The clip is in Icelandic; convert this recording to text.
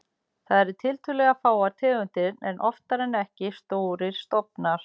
Þar eru tiltölulega fáar tegundir en oftar en ekki stórir stofnar.